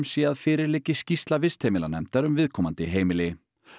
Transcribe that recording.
sé að fyrir liggi skýrsla vistheimilanefndar um viðkomandi heimili